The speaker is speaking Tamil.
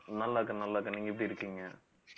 நல்லாருக்கேன் நல்லாருக்கேன் நீங்க எப்படி இருக்கீங்க